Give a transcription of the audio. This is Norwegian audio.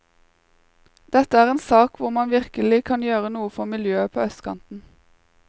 Dette er en sak hvor man virkelig kan gjøre noe for miljøet på østkanten.